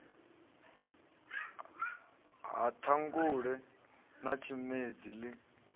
ha ṱhangule na tshimedzi ḽi